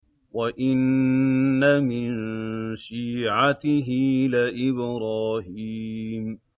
۞ وَإِنَّ مِن شِيعَتِهِ لَإِبْرَاهِيمَ